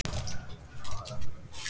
Rokkum þetta aðeins upp!